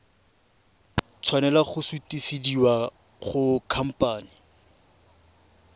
tshwanela go sutisediwa go khamphane